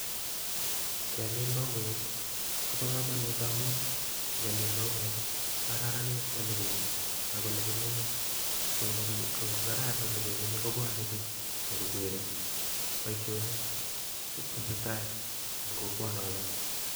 Keemin mauek kobo komonut ngamun ngemin mauek ko kararanit ole kemii, ako olekimenye ko ingokararan ole kemenye kobwone bik nyon kokere boishonik chetesetai eng kokwonotob